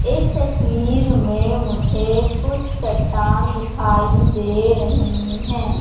इस तस्वीर में मुझे कुछ चट्टान दिखाई दे रही है।